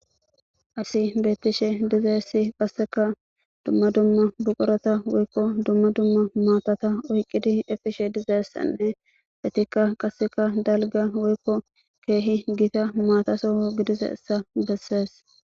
asi bettishe dizeessi qasseka dumma dumma buqurata woykko dumma dumma maatata oyqqidi efishe dizeessanne etikka qasseka dalga woykko keehi gita maataso gidize essa bessees